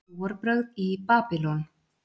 Trúarbrögð í Babýlon